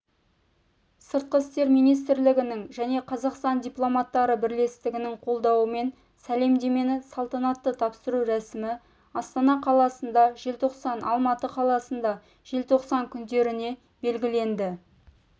сыртқы істер министрлігінің және қазақстан дипломаттары бірлестіктерінің қолдауымен сәлемдемені салтанатты тапсыру рәсімі астана қаласында желтоқсан алматы қаласында желтоқсан күндеріне белгіленді